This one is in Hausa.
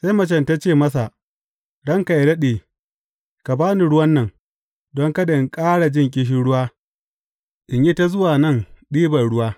Sai macen ta ce masa, Ranka yă daɗe, ka ba ni ruwan nan, don kada in ƙara jin ƙishirwa, in yi ta zuwa nan ɗiban ruwa.